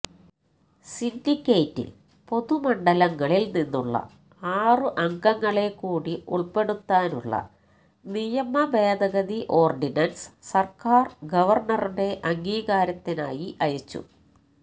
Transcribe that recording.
സിന്ഡിക്കേറ്റില് പൊതുമണ്ഡലങ്ങളില് നിന്നുള്ള ആറു അംഗങ്ങളെക്കൂടി ഉള്പ്പെടുത്താനുള്ള നിയമഭേദഗതി ഓര്ഡിനന്സ് സര്ക്കാര് ഗവര്ണറുടെ അംഗീകാരത്തിനായി അയച്ചു